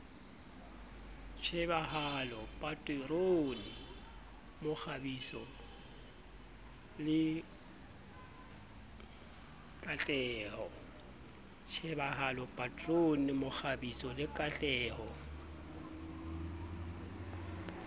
tjhebahalo paterone mokgabiso le kaheho